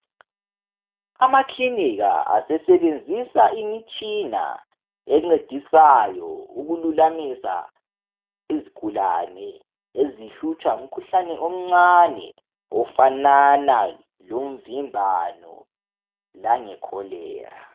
Amakilinika asesebenzisa imitshina encedisayo ukululamisa izigulane ezihlutshwa ngumkhuhlane omncane ofanana lomvimbano le cholera.